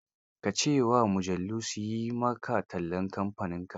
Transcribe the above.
Ka ce wa mujallar su yi ma tallan kamfaninka